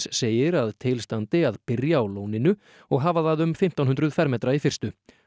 segir að til standi að byrja á lóninu og hafa það um fimmtán hundruð fermetra í fyrstu